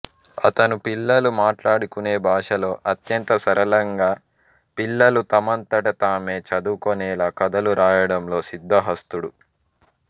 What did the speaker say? అతను పిల్లలు మాట్లాడుకునే భాషలో అత్యంత సరళంగా పిల్లలు తమంతట తామే చదవుకొనేలా కథలు రాయడంలో సిద్ధహస్తుడు